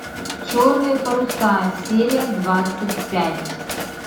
черные паруса серия двадцать пять